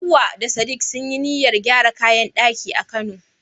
Hawwa da sadik sun yi niyyar gyara kayan daki a kano